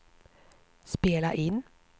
spela in